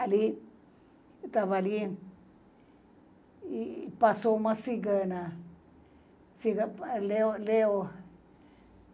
Ali, eu estava ali, e passou uma cigana ci Leo leo